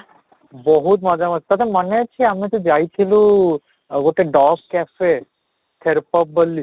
ବହୁତ ମଜା ମସ୍ତି ତୋତେ ମନେ ଅଛି ଆମେ ଯଉ ଯାଇଥିଲୁ ଆଉ ଗୋଟେ dogs café pop ବୋଲି